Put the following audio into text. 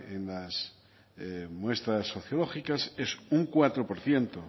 en muestras sociológicas es un cuatro por ciento